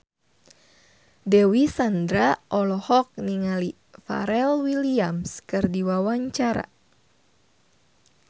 Dewi Sandra olohok ningali Pharrell Williams keur diwawancara